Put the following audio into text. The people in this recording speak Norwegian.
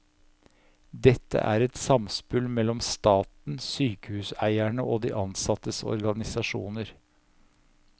Dette er et samspill mellom staten, sykehuseierne og de ansattes organisasjoner.